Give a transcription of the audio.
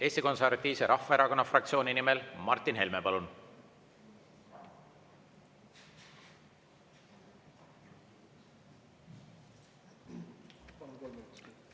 Eesti Konservatiivse Rahvaerakonna fraktsiooni nimel Martin Helme, palun!